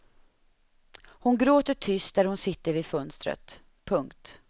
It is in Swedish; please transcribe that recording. Hon gråter tyst där hon sitter vid fönstret. punkt